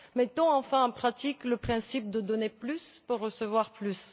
Mettons enfin en pratique le principe de donner plus pour recevoir